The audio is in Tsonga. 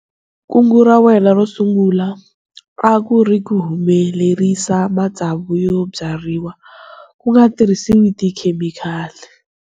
Kungu ra wena ro sungula a ku ri ku humelerisa matsavu yo byariwa ku nga tirhisiwi tikhemikali.